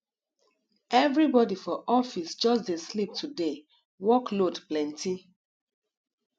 everybody for office just dey sleep today work load plenty